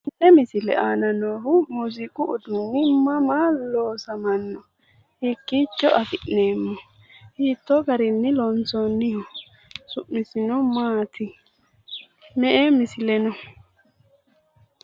Tenne misile aana noohu muuziiqu uduunni mama loosamanno? Hiikkiicho afi'neemmo? Hiittoo garinni loonsoonniho? Su'misino maati? Me"e misile no?